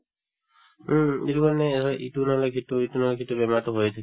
উম, এইটো কাৰণে হয় এটো নহলে সিটো এটো নহলে সিটো বেমাৰতো হৈয়ে থাকে